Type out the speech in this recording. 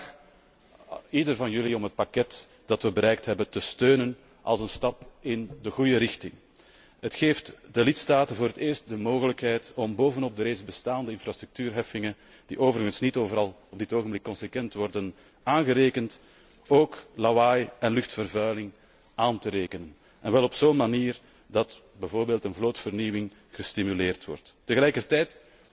Ik vraag ieder van jullie om het pakket dat we bereikt hebben, te steunen als een stap in de goede richting. Het geeft de lidstaten voor het eerst de mogelijkheid om bovenop de reeds bestaande infrastructuurheffingen, die overigens niet overal op dit ogenblik consequent worden aangerekend, ook lawaai en luchtvervuiling aan te rekenen, en wel op zo'n manier dat bijvoorbeeld een vlootvernieuwing gestimuleerd wordt. Tegelijkertijd